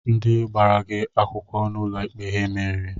Ndị gbara gị akwụkwọ n'uloikpe ha meriri?